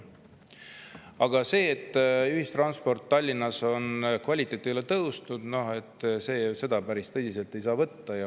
Aga seda, et ühistranspordi kvaliteet Tallinnas ei ole tõusnud, päris tõsiselt ei saa võtta.